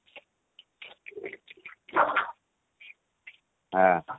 ଓଃ ହୋ